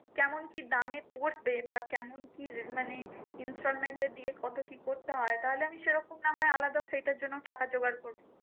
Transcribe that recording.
কেমন কি দামে পরবে? বা কেমন কি মানে installment এ দিয়ে কত কি করতে হয়? তাহলে আমি সেরকম না হয় আলাদা সেটার জন্য টাকা জোগাড় করবো।